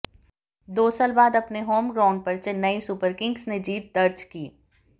दो साल बाद अपने होम ग्राउंड पर चेन्नई सुपरकिंग्स ने जीत दर्ज की